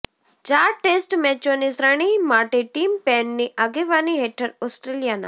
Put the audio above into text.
ચાર ટેસ્ટ મેચોની શ્રેણી માટે ટીમ પેનની આગેવાની હેઠળ ઓસ્ટ્રેલિયાના